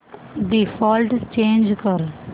default change कर